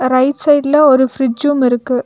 Right சைடுல ஒரு ஃபிரிட்ஜும் இருக்கு.